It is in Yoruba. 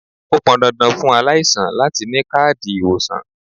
Ó pọn dandan fún aláìsàn láti ni káàdì ìwòsàn.